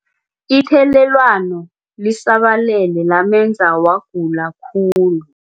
Ithelelwano lisabalele lamenza wagula khulu.